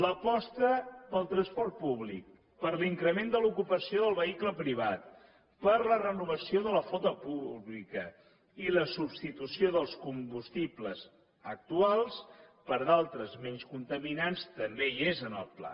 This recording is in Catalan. l’aposta per al transport públic per a l’increment de l’ocupació del vehicle privat per a la renovació de la flota pública i la substitució dels combustibles actuals per d’altres menys contaminants també hi és en el pla